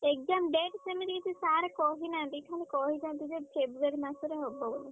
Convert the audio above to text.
Exam date ସେମିତି କିଛି sir କହିନାହାନ୍ତି। ଖାଲି କହିଛନ୍ତି ଯେ February ମାସରେ ହବ ବୋଲି।